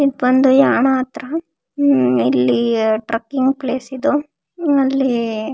ಇದ್ ಬಂದು ಯಾಣ ಹತ್ರ ಇದು ಟ್ರೆಕಿಂಗ್ ಪ್ಲೇಸ್ ಇದು. ಅಲ್ಲಿ--